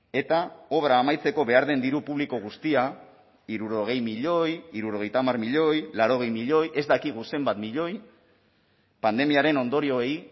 eta obra amaitzeko behar den diru publiko guztia hirurogei milioi hirurogeita hamar milioi laurogei milioi ez dakigu zenbat milioi pandemiaren ondorioei